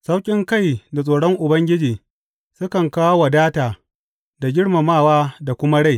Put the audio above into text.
Sauƙinkai da tsoron Ubangiji sukan kawo wadata da girmamawa da kuma rai.